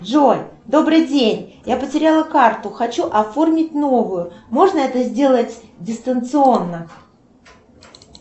джой добрый день я потеряла карту хочу оформить новую можно это сделать дистанционно